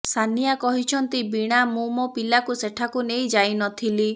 ସାନିଆ କହିଛନ୍ତି ବୀଣା ମୁଁ ମୋ ପିଲାକୁ ସେଠାକୁ ନେଇ ଯାଇ ନଥିଲି